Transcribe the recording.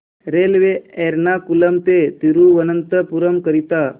railway Ernakulam ते थिरुवनंतपुरम करीता